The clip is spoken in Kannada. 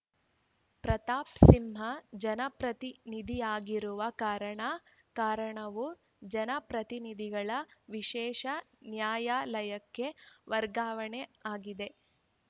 ಪ್ರತಾಪ್‌ ಸಿಂಹ ಜನಪ್ರತಿನಿಧಿಯಾಗಿರುವ ಕಾರಣ ಪ್ರಕರಣವು ಜನಪ್ರತಿನಿಧಿಗಳ ವಿಶೇಷ ನ್ಯಾಯಾಲಯಕ್ಕೆ ವರ್ಗಾವಣೆಯಾಗಿದೆ